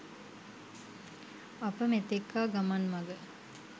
අප මෙතෙක් ආ ගමන් මග